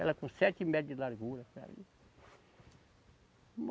Ela com sete metros de largura.